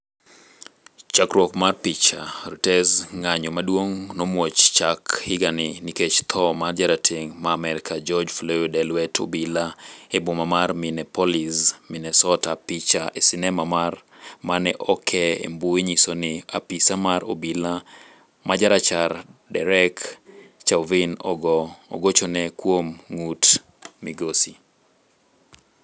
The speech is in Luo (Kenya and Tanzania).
Chakruok mar picha, Reuters. Ng'anyo maduong' nomuoch chak higani nikech tho mar jarateng' ma Amerka, George Floyd, e lwet obila e boma mar Minneapolis, Minnesota. Picha e sinema mane okee e mbui nyiso ni apisa mar obila majarachar, Derek Chauvin, ogo chone kuom ng'ut migosi.